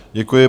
Děkuji.